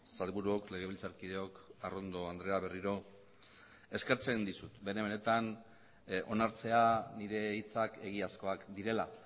sailburuok legebiltzarkideok arrondo andrea berriro eskertzen dizut bene benetan onartzea nire hitzak egiazkoak direla